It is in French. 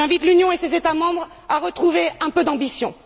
J'invite l'Union et ses États membres à retrouver un peu d'ambition.